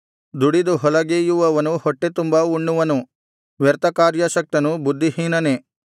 ದುಡಿದು ಹೊಲಗೇಯುವವನು ಹೊಟ್ಟೆತುಂಬಾ ಉಣ್ಣುವನು ವ್ಯರ್ಥಕಾರ್ಯಾಸಕ್ತನು ಬುದ್ಧಿಹೀನನೇ